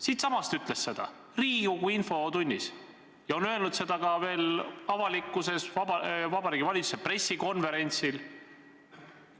Siitsamast puldist ta ütles seda Riigikogu infotunnis ja on öelnud ka Vabariigi Valitsuse pressikonverentsil.